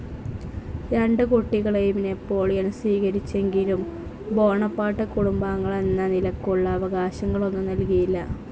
രണ്ടു കുട്ടികളേയും നാപ്പോളിയൻ സ്വീകരിച്ചെങ്കിലും ബോണപാർട്ട് കുടുംബാംഗങ്ങളെന്ന നിലക്കുള്ള അവകാശങ്ങളൊന്നും നല്കിയില്ല.